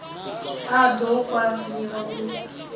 a d o kwamiwa u